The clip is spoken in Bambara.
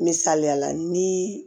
Misaliya la ni